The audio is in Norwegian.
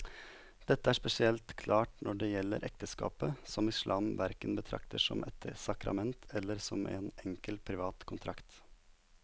Dette er spesielt klart når det gjelder ekteskapet, som islam hverken betrakter som et sakrament eller som en enkel privat kontrakt.